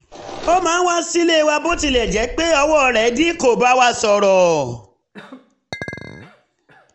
ó máa ń wá sílé wa bó tilẹ̀ jẹ́ pé owó rẹ̀ dí kó bá wa sọ̀rọ̀